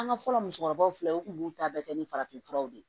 An ka fɔlɔ musokɔrɔbaw filɛ u b'u ta bɛɛ kɛ ni farafinfuraw de ye